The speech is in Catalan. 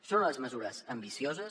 són unes mesures ambicioses